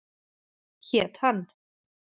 Hét hann